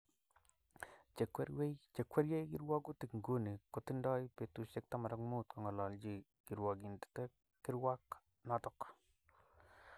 Chekwerie kirwagutik nguni kotindo betusiek 15 kongolochi kirwogindet kirwak noto